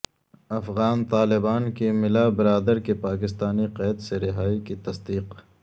افغان طالبان کی ملا برادر کی پاکستانی قید سے رہائی کی تصدیق